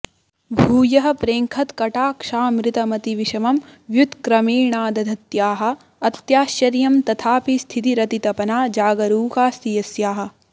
भूयः प्रेङ्खत्कटाक्षामृतमतिविषमं व्युत्क्रमेणादधत्याः अत्याश्चर्यं तथापि स्थितिरतितपना जागरूकास्ति यस्याः